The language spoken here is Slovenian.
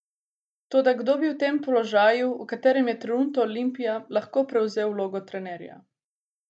Toda kdo bi v tem položaju, v katerem je trenutno Olimpija, lahko prevzel vlogo trenerja?